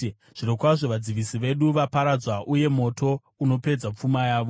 ‘Zvirokwazvo vadzivisi vedu vaparadzwa, uye moto unopedza pfuma yavo.’